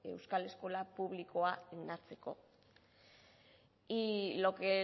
euskal eskola publikoa indartzeko y lo que